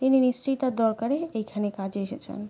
তিনি নিশ্চয় তাঁর দরকারে এইখানে কাজে এসেছেন ।